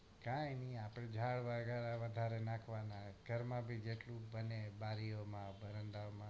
કાય નઈ આપણે જાર વારો આવે ત્યારે નાખવાનું ઘર માંથી જેટલું બારી ઓ માં વરંડા વો માં